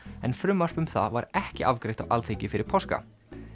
en frumvarp um það var ekki afgreitt á Alþingi fyrir páska